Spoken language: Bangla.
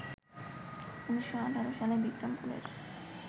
১৯১৮ সালে বিক্রমপুরের